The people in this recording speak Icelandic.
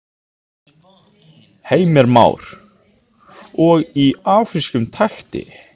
Heimir Már: Og í afrískum takti?